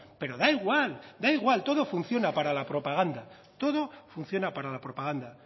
pero da igual da igual todo funciona para la propaganda todo funciona para la propaganda